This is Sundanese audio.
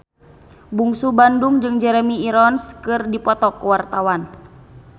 Bungsu Bandung jeung Jeremy Irons keur dipoto ku wartawan